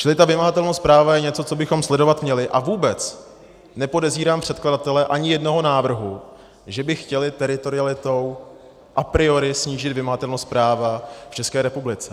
Čili ta vymahatelnost práva je něco, co bychom sledovat měli, a vůbec nepodezírám předkladatele ani jednoho návrhu, že by chtěli teritorialitou a priori snížit vymahatelnost práva v České republice.